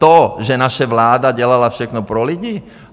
To, že naše vláda dělala všechno pro lidi?